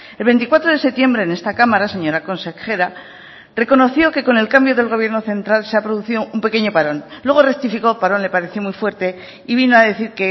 el veinticuatro de septiembre en esta cámara señora consejera reconoció que con el cambio del gobierno central se ha producido un pequeño parón luego rectificó parón le pareció muy fuerte y vino a decir